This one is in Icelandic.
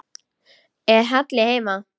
Er Halli heima?